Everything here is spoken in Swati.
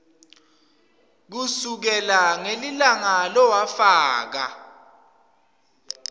kusukela ngelilanga lowafaka